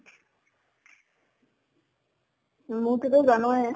মুৰতোটো জানই